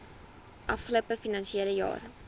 afgelope finansiële jaar